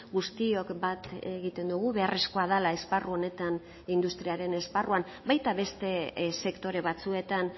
guztiok bat egiten dugu beharrezkoa dela esparru honetan industriaren esparruan baita beste sektore batzuetan